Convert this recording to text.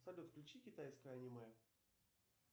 салют включи китайское аниме